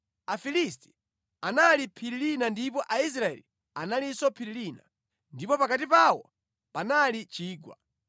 Afilisti anali phiri lina ndipo Aisraeli analinso phiri lina, ndipo pakati pawo panali chigwa.